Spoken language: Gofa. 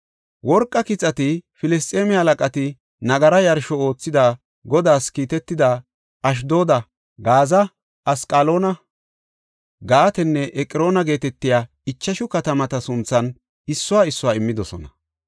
Worqa kixati Filisxeeme halaqati nagara yarsho oothidi Godaas kiitida Ashdooda, Gaaza, Asqaloona, Gaatenne Eqroona geetetiya ichashu katamata sunthan issuwa issuwa immidosona.